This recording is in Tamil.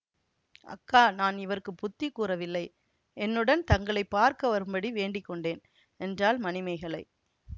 அக்கா நான் இவருக்கு புத்தி கூறவில்லை என்னுடன் தங்களை பார்க்க வரும்படி வேண்டி கொண்டேன் என்றாள் மணிமேகலை